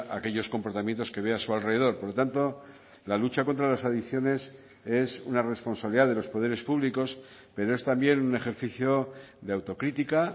aquellos comportamientos que ve a su alrededor por lo tanto la lucha contra las adicciones es una responsabilidad de los poderes públicos pero es también un ejercicio de autocrítica